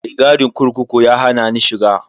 Mai gadin kurkuku ya hana ni shiga.